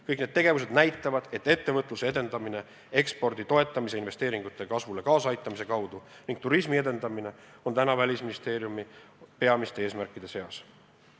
Kõik need tegevused näitavad, et ettevõtluse edendamine ekspordi toetamise ja investeeringute kasvule kaasaaitamise kaudu ning turismi arendamine on Välisministeeriumi peamiste eesmärkide seas.